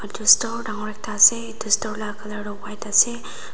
edu store dangor ekta ase edu store la colour tu white ase.